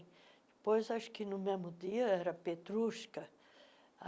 Depois, acho que no mesmo dia, era Petrushka.